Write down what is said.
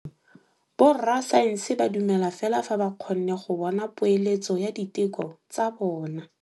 Borra saense ba dumela fela fa ba kgonne go bona poeletsô ya diteko tsa bone.